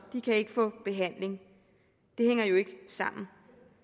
de kan ikke få behandling det hænger jo ikke sammen